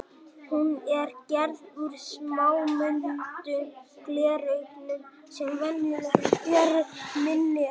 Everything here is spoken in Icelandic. Hún er gerð úr smámuldum glerögnum sem venjulega eru minni en